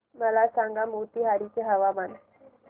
मला सांगा मोतीहारी चे हवामान